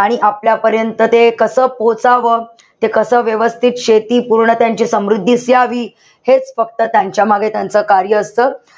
आणि आपल्यापर्यंत ते कसं पोहोचावं, ते कसं व्यवस्थित शेती पूर्ण त्यांची समृद्धीस यावी, हेच फक्त त्यांच्यामागे त्यांचं कार्य असत.